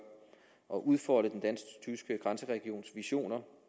og udfolde den dansktyske grænseregions visioner